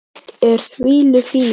Þannig er það með okkur.